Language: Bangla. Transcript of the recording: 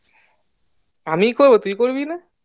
আমি করবো তুই করবি না